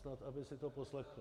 Snad aby si to poslechl...